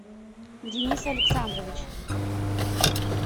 денис александрович